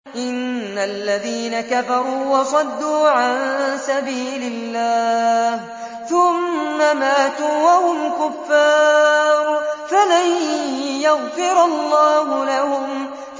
إِنَّ الَّذِينَ كَفَرُوا وَصَدُّوا عَن سَبِيلِ اللَّهِ ثُمَّ مَاتُوا وَهُمْ كُفَّارٌ فَلَن يَغْفِرَ اللَّهُ لَهُمْ